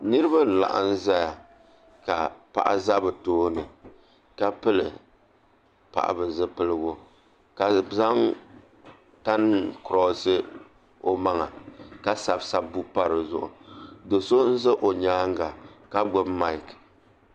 Nuraba n laɣam ʒɛya ka paɣa ʒɛ bi tooni ka pili paɣa zipiligu ka zaŋ tani kiroosi o maŋa ka sabi sabbu pa dizuɣu do so n ʒɛ o nyaanga ka gbubi maik